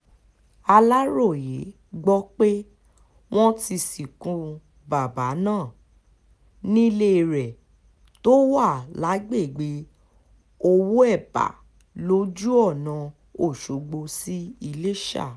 aláròyé gbọ́ pé wọ́n ti sìnkú bàbà náà nílé rẹ̀ tó wà lágbègbè owóébà lójú ọ̀nà ọ̀ṣọ́gbó sí iléṣà